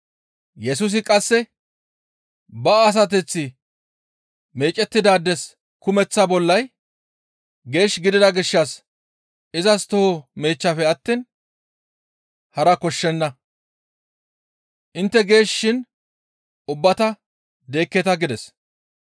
Yesusi qasse, «Ba asateththi meecettidaades kumeththa bollay geesh gidida gishshas izas toho meechchafe attiin hara koshshenna. Intte geesh shin ubbata deekketa» gides.